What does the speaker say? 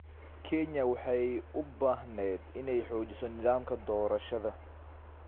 Kenya waxay u baahneyd inay xoojiso nidaamka doorashada.